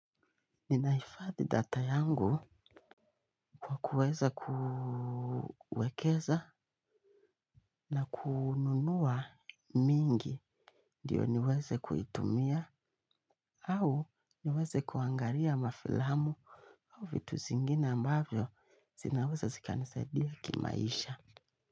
Ninahifadhi data yangu kwa kuweza kuwekeza na kununua mingi ndiyo niweze kuitumia au niweze kuangalia mafilamu au vitu zingine ambavyo zinaweza zikanisaidia kimaisha.